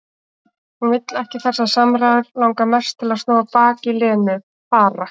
Hún vill ekki þessar samræður, langar mest til að snúa baki í Lenu, fara.